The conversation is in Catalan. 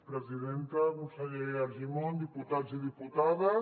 presidenta conseller argimon diputats i diputades